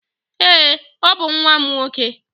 Èé, ọ bụ nwa m nwoke.